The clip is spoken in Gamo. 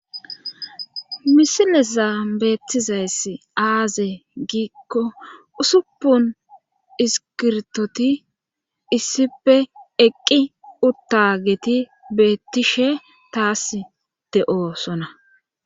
misileza beettizaysi aaze giikko usuppun iskirtoti issife eqqi uttageti beettishe tasi de7osona.